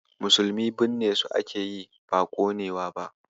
Musulmi binnesu ake yi, ba ƙonewa ba.